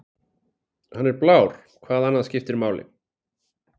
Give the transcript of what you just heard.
Hann er blár, hvað annað skiptir máli?